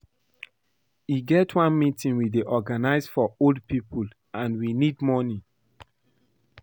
E get one meeting we dey organize for old people and we need money